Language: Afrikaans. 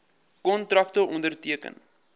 kontrakte onderteken